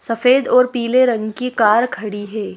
सफेद और पीले रंग की कार खड़ी है।